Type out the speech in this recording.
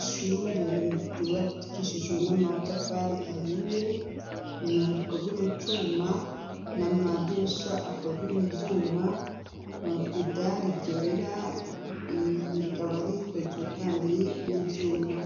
ishure ryubakishijwe n'amatafari ahiye, imyango ikozwe mu cuma n'amadirisha akoze mu vyuma, idari ryera rikaba rikozwe kandi n'ivyuma.